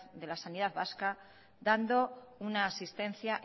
de la sanidad vasca dando una asistencia